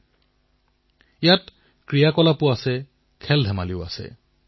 যিদৰে অন্ধ্ৰ প্ৰদেশৰ বিশাখাপট্টনমৰ শ্ৰী চি বি ৰাজুৱে কৰিছে